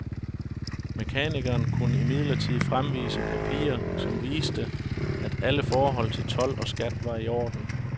Mekanikeren kunne imidlertid fremvise papirer, som viste, at alle forhold til told og skat var iorden.